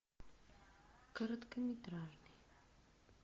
короткометражный